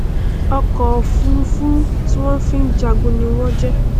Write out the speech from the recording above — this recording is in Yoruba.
ọkọofurufú ti wọn fi n jagun ní wọn jẹ